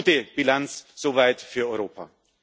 Eine gute Bilanz soweit für